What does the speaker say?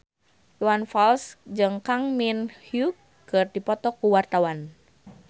Iwan Fals jeung Kang Min Hyuk keur dipoto ku wartawan